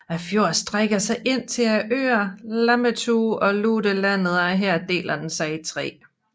Fjorden strækker sig ind til øerne Lammetu og Lutelandet og her deler den sig i tre